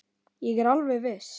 Ég er alveg viss.